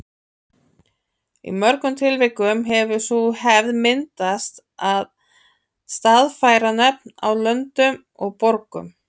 Í mörgum tilvikum hefur sú hefð myndast að staðfæra nöfn á löndum og borgum.